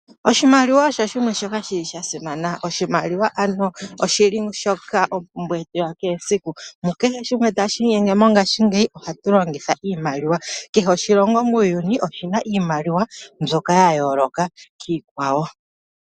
Oshimaliwa osho shimwe shoka shi li sha simana. Oshimaliwa oshi li shoka ompumbwe yetu yakehe esiku. Mukehe shimwe tashi inyenge mongashingeyi ohatu longitha oshimaliwa. Kehe oshilongo muuyuni oshi na oshimaliwa shoka sha yooloka kiikwawo.